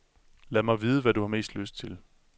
Lad mig vide, hvad du har mest lyst til.